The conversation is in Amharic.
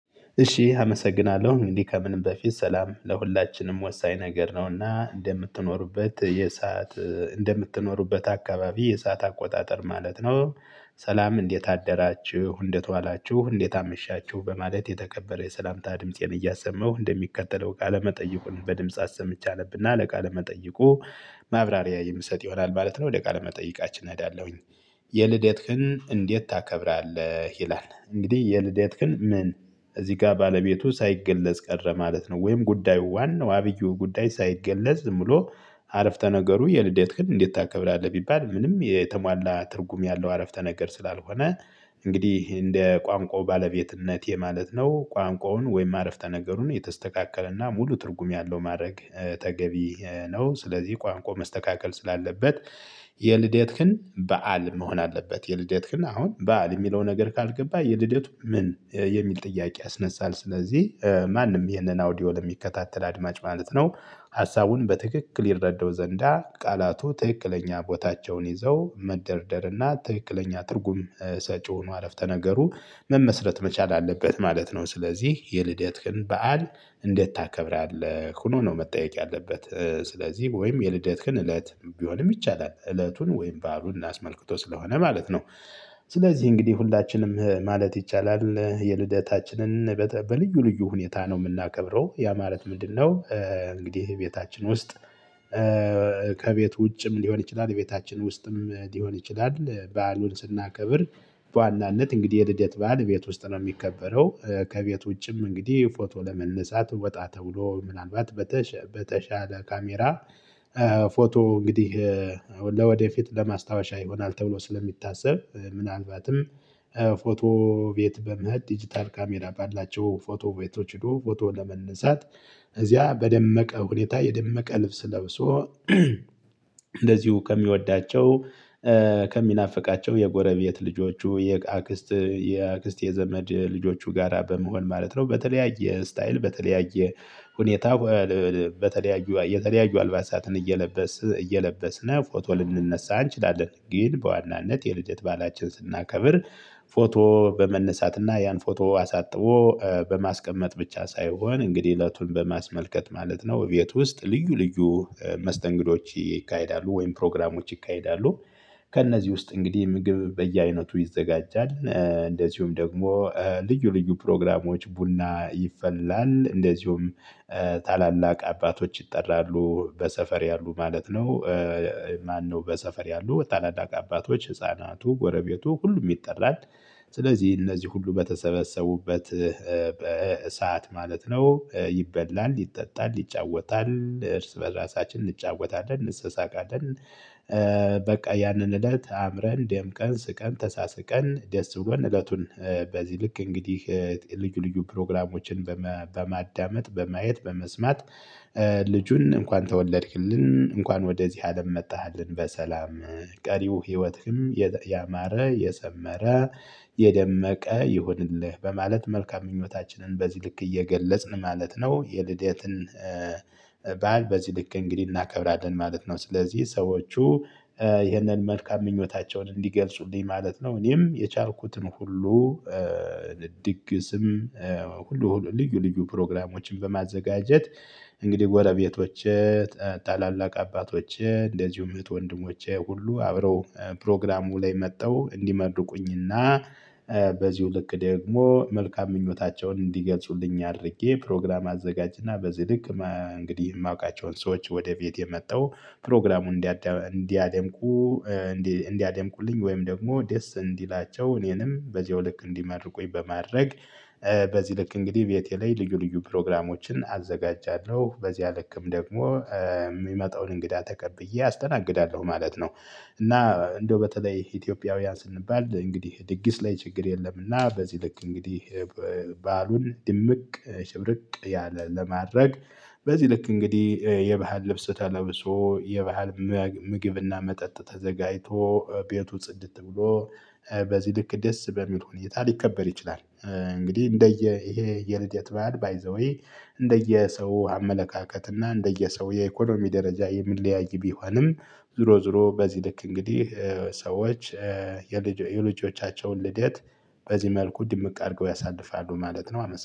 እሺ አመሰግናለሁ። እንግዲህ ከምንም በፊት ሰላም ለሁላችንም ወሳኝ ነገር ነው እና እንደምትኖሩበት የሰዓት እንደምትኖሩበት አካባቢ የሰዓት አቆጣጠር ማለት ነው። ሰላም እንዴት አደራችሁ። እንዴትዋላችሁ። እንዴት አመሻችሁ። በማለት የተከበረ የሰላምታ ድምፄን እያሰማው እንደሚከተለው ቃለመጠይቁን በድምጽ አሰምቼ አነብና ለቃለ መጠይቁ ማብራሪያ የምሰጥ ይሆናል ማለት ነው። ወደ ቃለ መጠይቃችን እሄዳለሁኝ የልደትህን እንዴት ታከብራለህ ይላል እንግዲህ የልደትህን ምን እዚህ ጋር ባለቤቱ ሳይገለጽ ቀረ ማለት ነው። ወይም ጉዳዩ ዋናው አብይ ጉዳይ ሳይገለጽ ብሎ አረፍተ ነገሩ የልደትህን እንዴት ታከብራለህ ቢባል ምንም የተሟላ ትርጉም ያለው አረፍተ ነገር ስላልሆነ እንግዲህ እንደ ቋንቋው ባለቤትነቴ የማለት ነው ቋንቋውን ወይም አረፍተ ነገሩን የተስተካከለና ሙሉ ትርጉም ያለው ማድረግ ተገቢ ነው። ስለዚህ ቋንቋ መስተካከል ስላለበት የልደትህን በዓል መሆን አለበት። የልደትህን አሁን በዓል የሚለው ነገር ካልገባ የልደቱ ምን የሚል ጥያቄ ያስነሳል። ስለዚህ ማንም ይህንን አውዲዮ የሚከታተል አድማጭ ማለት ነው ሀሳቡን በትክክል ይረዳው ዘንዳ ቃላቱ ትክክለኛ ቦታቸውን ይዘው መደርደር እና ትክክለኛ ትርጉም ሰጪ ሆኖ አረፍተ ነገሩ መመስረት መቻል አለበት ማለት ነው። ስለዚህ የልደትህን በዓል እንዴት ታከብራለህ? ሆኖ ነው መጠየቅ ያለበት። ስለዚህ ወይም የልደትህን እለት ቢሆንም ይቻላል እለቱን ወይም ባዕሉን አስመልክቶ ስለሆነ ማለት ነው። ስለዚህ እንግዲህ ሁላችንም ማለት ይቻላል የልደታችንን በልዩ ልዩ ሁኔታ ነው የምናከብረው። ያ ማለት ምንድነው እንግዲህ እቤታችን ውስጥ ከቤት ውጭም ሊሆን ይችላል ቤታችን ውስጥም ሊሆን ይችላል በዓሉን ስናከብር በዋናነት እንግዲህ የልደት በዓል ቤት ውስጥ ነው የሚከበረው ከቤት ውጭም እንግዲህ ፎቶ ለመነሳት ወጣ ተብሎ ምናልባት በተሻለ ካሜራ ፎቶ እንግዲህ ለወደፊት ለማስታወሻ ይሆናል ተብሎ ስለሚታሰብ ምናልባትም ፎቶ ቤት በመሄድ ዲጂታል ካሜራ ባላቸው ፎቶ ቤቶች ሄዶ ፎቶ ለመነሳት እዚያ በደመቀ ሁኔታ የደመቀ ልብስ ለብሶ እንደዚሁ ከሚወዳቸው ከሚናፍቃቸው የጎረቤት ልጆቹ የአክስት የአክስት የዘመድ ልጆቹ ጋራ በመሆን ማለት ነው በተለያየ 'ስታይል' በተለያየ ሁኔታ በተለያዩ የተለያዩ አልባሳትን እየለበስን እየለበስን ፎቶ ልንነሳ እንችላለን ግን በዋናነት የልደት ባዕላችንን ስናከብር ፎቶ በመነሳት እና ያን ፎቶ አሳጥቦ በማስቀመጥ ብቻ ሳይሆን እንግዲህ እለቱን በማስመልከት ማለት ነው። እቤት ውስጥ ልዩ ልዩ መስተንግዶዎች ይካሄዳሉ ወይም ፕሮግራሞች ይካሄዳሉ። ከእነዚህ ውስጥ እንግዲህ ምግብ በየአይነቱ ይዘጋጃል። እንደዚሁም ደግሞ ልዩ ልዩ ፕሮግራሞዎች ቡና ይፈላል። እንደዚሁም ታላላቅ አባቶች ይጠራሉ በሰፈር ያሉ ማለት ነው። ማነው በሰፈር ያሉ ታላላቅ አባቶች፣ ህፃናቱ ጎረቤቱ ሁሉም ይጠራል። ስለዚህ እነዚህ ሁሉ በተሰበሰቡበት በሰአት ማለት ነው ይበላል፣ ይጠጣል፣ ይጫወታል እርስ በራሳችን እንጫወታለን እንሰሳቃለን በቃ ያንን እለት አምረን ደምቀን ስቀን ተሳስቀን ደስ ብሎን እለቱን በዚህ ልክ እንግዲህ ልዩ ልዩ ፕሮግራሞችን በማዳመጥ፣ በማየት፣ በመስማት ልጁን እንኳን ተወለድክልን። እንኳን ወደዚህ አለም መጣሃልን በሰላም ቀሪው ህይወትህም ያማረ የሰመረ የደመቀ ይሁንልህ በማለት መልካም ምኞታችንን በዚህ ልክ እየገለጽን ማለት ነው የልደትን ባእል በዚህ ልክ እንግዲህ እናከብራለን ማለት ነው። ስለዚህ ሰዎቹ ይህንን መልካም ምኞታቸውን እንዲገልጹልኝ ማለት ነው እኔም የቻልኩትን ሁሉ ድግስም ሁሉ ልዩ ልዩ ፕሮግራሞችን በማዘጋጀት እንግዲህ ጎረቤቶቼ ታላላቅ አባቶቼ እንደዚሁም እህት ወንድሞቼ ሁሉ አብረው ፕሮግራሙ ላይ መጥተው እንዲመርቁኝ እና በዚሁ ልክ ደግሞ መልካም ምኞታቸውን እንዲገልጹልኝ አድርጌ ፕሮግራም አዘጋጅ እና በዚ ልክ እንግዲህ የማውቃቸውን ሰዎች ወደ ቤት ምጠው ፕሮግራሙን እንዲያደምቁ እንዲያደምቁልኝ ወይም ደግሞ ደስ እንዲላቸው እኔንም በዚሁ ልክ እንዲመርቁኝ በማድረግ በዚህ ልክ እንግዲህ ቤቴ ላይ ልዩ ልዩ ፕሮግራሞችን አዘጋጃለሁ በዚህ ልክም ደግሞ የሚመጣውን እንግዳ ተቀብዬ አስተናግዳለሁ ማለት ነው። እና እንደው በተለይ ኢትዮጵያውያን ስንባል እንግዲህ ድግስ ላይ ችግር የለምና በዚህ ልክ እንግዲህ ባዕሉን ድምቅ ሽብርቅ ያለ ለማድረግ በዚህ ልክ እንግዲህ የባህል ልብስ ተለብሶ የባህል ምግብ እና መጠጥ ተዘጋጅቶ ቤቱ ጽድት ብሎ በዚህ ልክ ደስ በሚል ሁኔታ ሊከበር ይችላል። እንግዲህ እንደ የ ይሄ የልደት ባእል 'ባይዘዌ' እንደየ ሰው አመለካከት እና እንደየ እንደየ ሰው የኢኮኖሚ ደረጃ የሚለያይ ቢሆንም ዞሮ ዞሮ በዚህ ልክ እንግዲህ ሰዎች የልጆቻቸውን ልደት በዚህ መልኩ ድምቅ አድርገው ያሳልፋሉ ማለት ነው። አመሰግናለሁ።